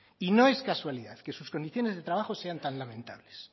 y no es casualidad que sus condiciones de trabajo sean tan lamentables